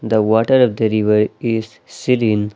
The water of the river is seeding.